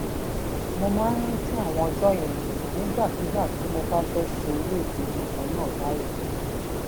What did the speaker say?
mo máa ń rántí àwọn ọjó yẹn nígbàkigbà tí mo bá fé ṣe irú ìpinnu kan náà báyìí